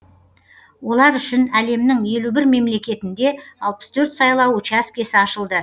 олар үшін әлемнің елу бір мемлекетінде алпыс төрт сайлау учаскесі ашылды